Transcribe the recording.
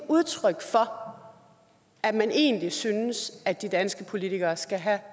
udtryk for at man egentlig synes at de danske politikere skal have